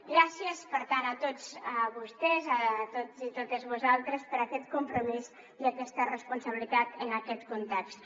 gràcies per tant a tots vostès a tots i totes vosaltres per aquest compromís i aquesta responsabilitat en aquest context